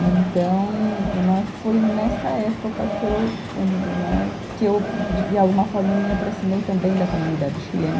Então né, foi nessa época que eu né, que eu de alguma forma, eu me aproximei também da comunidade chilena.